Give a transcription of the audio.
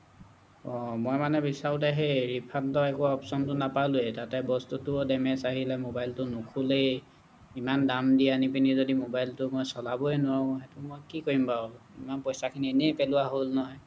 অহ্‌ মই মানে বিছাৰোতে সেই refund ৰ একো option টো নাপালোঁৱে তাতে বস্তুটো damage আহিলে মবাইলটো নোখোলেই ইমান দাম দি আনিপিনি যদি মবাইলটো মই চলাবই নোৱাৰোঁ সেইটো মই কি কৰিম বাৰু ইমান পইচাখিনি এনেই পেলোৱা হ'ল নহয়